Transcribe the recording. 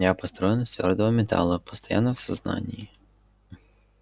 я построен из твёрдого металла постоянно в сознании